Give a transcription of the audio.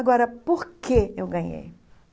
Agora, por que eu ganhei?